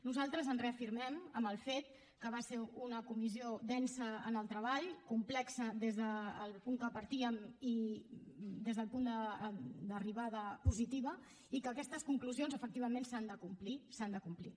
nosaltres ens reafirmem en el fet que va ser una comissió densa en el treball complexa des del punt que partíem i des del punt d’arribada positiva i que aquestes conclusions efectivament s’han de complir s’han de complir